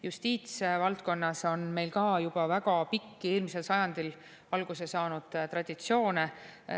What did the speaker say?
Justiitsvaldkonnas on meil ka juba väga pikki ja eelmisel sajandil alguse saanud traditsioone.